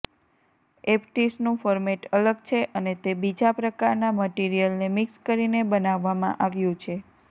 એપ્ટિસનું format અલગ છે અને તે બીજા પ્રકારના મટિરિયલને મિક્સ કરીને બનાવવામાં આવ્યું છે